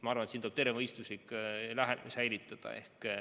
Ma arvan, et siin tuleb terve mõistus säilitada.